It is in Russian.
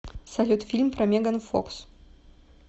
салют фильм про меган фокс